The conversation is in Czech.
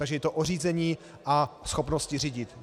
Takže je to o řízení a schopnosti řídit.